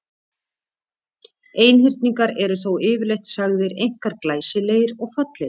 Einhyrningar eru þó yfirleitt sagðir einkar glæsilegir og fallegir.